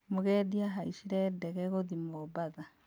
Mũgendi ahaicire ndege gũthiĩ Mombatha